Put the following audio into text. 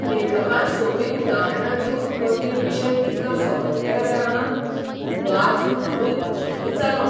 लेखकान सोपीं उदाहरणां दिवन कठीण विशय कितलो सोंपो केला जाणा, वाचून हांवूय अजापीत जालों.